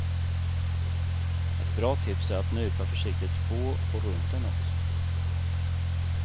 Ett bra tips är att nypa försiktigt på och runt den också.